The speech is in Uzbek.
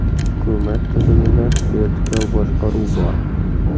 Hukumat tizimida vertikal boshqaruv bor.